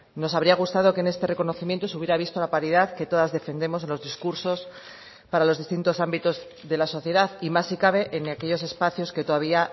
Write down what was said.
nos habría gustado que en este reconocimiento se hubiera visto la paridad que todas defendemos en los discursos para los distintos ámbitos de la sociedad y más si cabe en aquellos espacios que todavía